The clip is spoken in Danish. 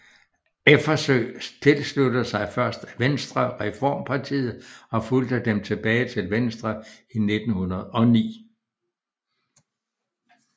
Effersøe tilsluttede sig først Venstrereformpartiet og fulgte dem tilbage til Venstre i 1909